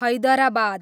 Hyderabad